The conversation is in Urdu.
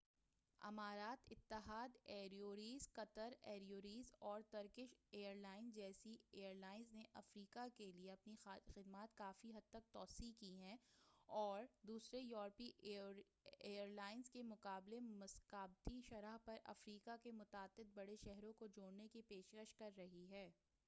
امارات اتحاد ایئرویز قطر ایئرویز اور ترکش ایئر لائنز جیسی ایئرلائنز نے افریقہ کیلئے اپنی خدمات کافی حد تک توسیع کی ہے اور دوسرے یوروپی ایئرویز کے مقابلے مسابقتی شرح پر افریقہ کے متعدد بڑے شہروں کو جوڑنے کی پیشکش کر رہی ہے